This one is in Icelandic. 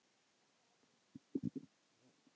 Þetta er mikill spuni.